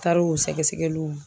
Taar'o sɛgɛsɛgɛliw.